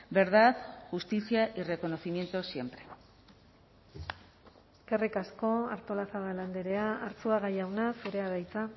verdad justicia y reconocimiento siempre eskerrik asko artolazabal andrea arzuaga jauna zurea da hitza